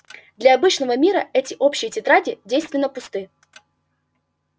для обычного мира эти общие тетради девственно пусты